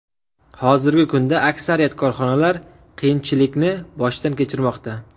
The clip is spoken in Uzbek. Hozirgi kunda aksariyat korxonalar qiyinchilikni boshdan kechirmoqda.